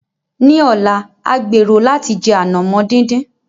Ní ọ̀la, a gbèrò láti jẹ ànàmọ́ dídín.